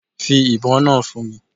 Fi ibon naa fun mi